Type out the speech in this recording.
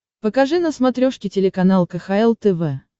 покажи на смотрешке телеканал кхл тв